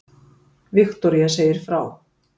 Viktoría segir frá